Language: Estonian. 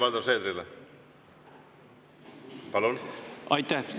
Aitäh!